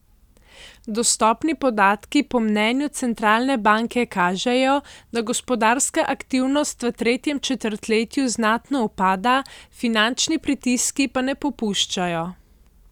Dostopni podatki po mnenju centralne banke kažejo, da gospodarska aktivnost v tretjem četrtletju znatno upada, finančni pritiski pa ne popuščajo.